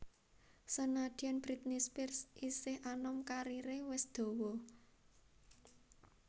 Senadyan Britney Spears isih anom kariré wis dawa